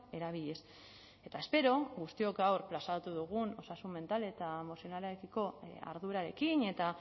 erabiliz eta espero guztiok gaur plazaratu dugun osasun mental eta emozionalarekiko ardurarekin eta